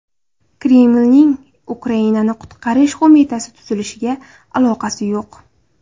Kremlning Ukrainani qutqarish qo‘mitasi tuzilishiga aloqasi yo‘q.